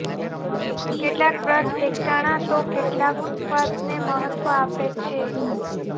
કેટલાક વ્રત એકટાણાં તો કેટલાક ઉપવાસને મહત્વ આપે છે